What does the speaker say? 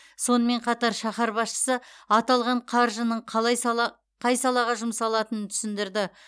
сонымен қатар шаһар басшысы аталған қаржының қай салаға жұмсалатынын түсіндірді